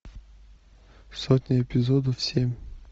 сотня эпизодов семь